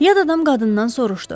Yad adam qadından soruşdu.